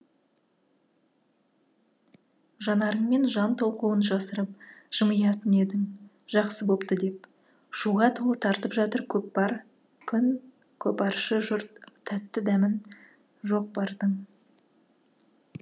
жанарыңмен жан толқуын жасырып жымиятын едің жақсы бопты деп шуға толы тартып жатыр көкпрар күн көпаршы жұрт тәтті дәмін жоқ бардың